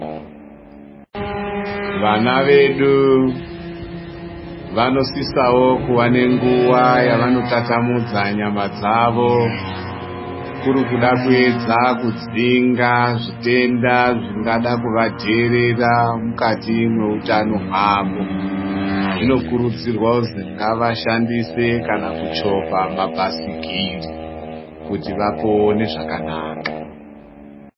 Vana vedu vanosisawo kuva nenguva yavanotatamudza nyama dzavo kuda kuedza kudzingazvitenda zvingada kuvadherera mukati mwehutano wavo zvinokurudzirwa kuzi ngavashandise kana kuchovha mabhaisikiri kuti vapone zvakanaka.